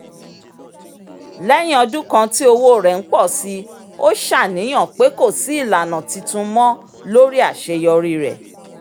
léyìn ọdún kan tí owó rẹ ń pọ̀ síi ó ṣàníyàn pé kò sí ìlànà titun mọ́ lórí àṣeyọrí rẹ